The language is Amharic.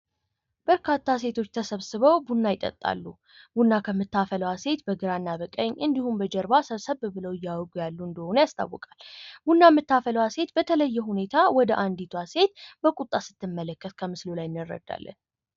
በርካታ ሴቶች ተሰብስበው ቡና ይጠጣሉ ቡና ከምታፈዋል ሴት በግራና በቀኝ እንዲሁም በጀርባ ሰብሰብ ብለው እያውሩ ያሉ እንደሆነ ያስታወቃል። ቡና የምታፈላው ሴት በተለየ ሁኔታ ወደ አንዲቷ ሴት በቁጣ ስትመለከት ከምስሉ ላይ እንረዳልን።